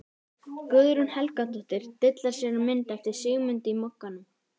Guðrún Helgadóttir dillar sér á mynd eftir Sigmund í Mogganum.